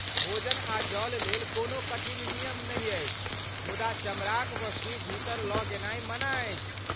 भोजन आ जल लेल कोनो कठिन नियम नहि अछि मुदा चमड़ाक वस्तु भीतर लऽ गेनाइ मना अछि।